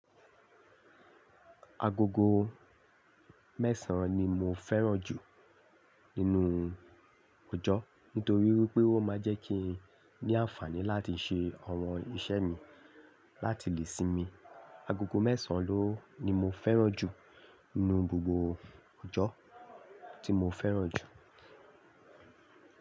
Agogo mẹ́sàn ni mo fẹ́ràn jù nínú òjò nítorí wipé ó máa ń jẹ́ kí n ní ànfàní láti ṣe àwọn iṣẹ́ mi láti lè sinmi. Agogo mẹ́sàn ló ni mo fẹ́ràn jù nínú gbogbo òjò tí mo fẹ́ràn jù.